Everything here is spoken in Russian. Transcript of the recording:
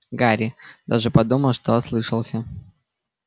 гарри даже подумал что ослышался